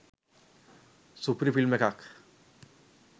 සුපිරි ෆිල්ම් එකක්